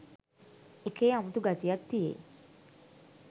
එකේ අමුතු ගතියක් තියෙයි